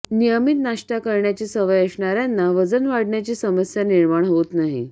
नियमित नाश्ता करण्याची सवय असणाऱ्यांना वजन वाढण्याची समस्या निर्माण होत नाही